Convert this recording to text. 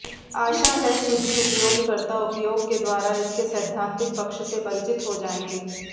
आशा है सुधी उपयोगकर्ता उपयोग के द्वारा इसके सैद्धांतिक पक्ष से परिचित हो जाएंगे